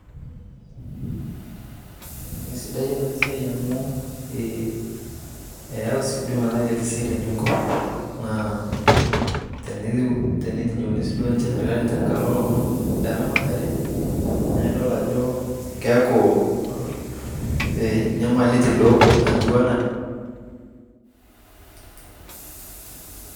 Esidai enasiai amu eyau si di metaa ketii seriani enkop, naa tenitinyikuni duo sinche serkali tenkalo lomon leramatare, na idol ajo keeku nyamalitin etiu enaa